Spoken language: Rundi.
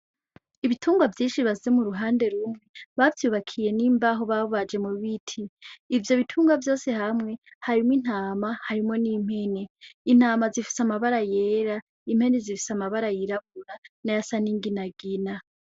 Ibitungwa vyinshi bashize mu ruhande rumwe, bavyubakiye n'imbaho babaje mu biti, ivyo bitungwa vyose hamwe harimwo intama, harimwo n'impene, intama zifise amabara yera, impene zifise amabara yirabura nayasa n'inginagina.